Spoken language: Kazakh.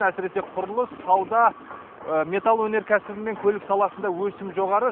әсіресе құрылыс сауда металл өнеркәсібі мен көлік саласында өсім жоғары